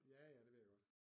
Ja ja det ved jeg godt